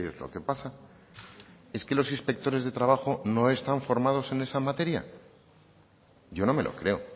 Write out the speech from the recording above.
lo que pasa es que los inspectores de trabajo no están formados en esa materia yo no me lo creo